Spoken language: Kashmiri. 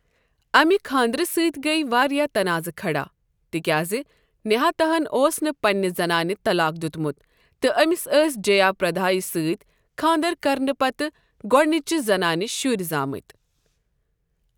اَمہِ خانٛدرٕ سۭتۍ گٔیۍ واریٛاہ تناضہٕ کھڑا، تِكیازِ نہاتا ہَن اوس نہٕ پننہِ زنانہِ طلاق دِیُتمُت تہٕ أمِس ٲسۍ جیا پردایہ سۭتۍ خانٛدَر کرنہٕ پتہٕ گۄٕڈنِچہِ زنانہِ شُرۍ زامٕتۍ ۔